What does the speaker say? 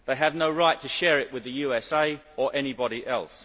They have no right to share it with the USA or anybody else.